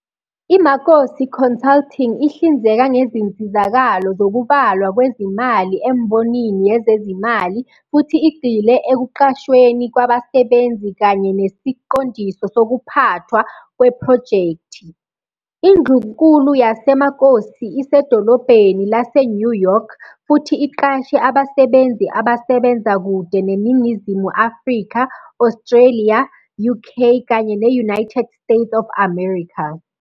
IMakosi Consulting ihlinzeka ngezinsizakalo zokubalwa kwezimali embonini yezezimali futhi igxile ekuqashweni kwabasebenzi kanye nesiqondiso sokuphathwa kwephrojekthi. Indlunkulu yaseMakosi isedolobheni laseNew York, futhi iqashe abasebenzi abasebenza kude neNingizimu Afrika, Australia, UK kanye ne-United States of America.